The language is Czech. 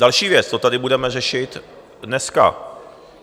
Další věc, to tady budeme řešit dneska.